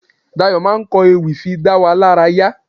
Dayọ̀ máa ń ko ewì fi dá wa lárayá.